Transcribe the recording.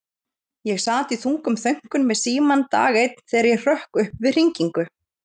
Ég sat í þungum þönkum við símann dag einn þegar ég hrökk upp við hringingu.